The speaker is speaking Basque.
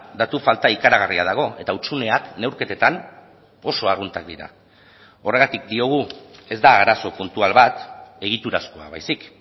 datu falta ikaragarria dago eta hutsuneak neurketetan oso arruntak dira horregatik diogu ez da arazo puntual bat egiturazkoa baizik